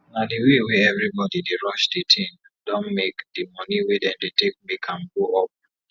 na d way wey everi bodi dey rush d tin don make d moni wey dem dey take make am go up